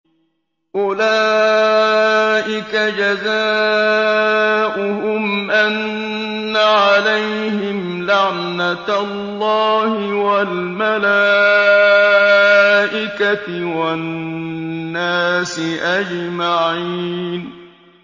أُولَٰئِكَ جَزَاؤُهُمْ أَنَّ عَلَيْهِمْ لَعْنَةَ اللَّهِ وَالْمَلَائِكَةِ وَالنَّاسِ أَجْمَعِينَ